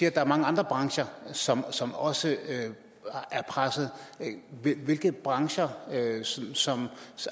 at der er mange andre brancher som som også er presset hvilke brancher som